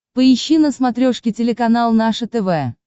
поищи на смотрешке телеканал наше тв